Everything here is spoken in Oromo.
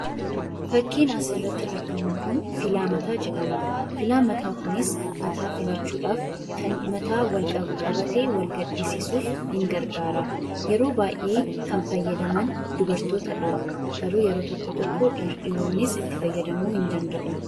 Fakkiin asii gaditti argamu kun filaa mataa jedhama. Filaan mataa kunis mataa filachuudhaaf kan mataa wal qabate wal gadhiisisuuf ni gargaara. Yeroo baay'ee kan fayyadaman dubartootadha. Garuu yeroo tokko tokko dhiironnis itti fayyadamuu ni danda'u.